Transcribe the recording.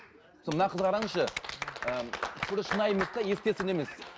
мына қызды қараңызшы ы шынайы емес те естественно емес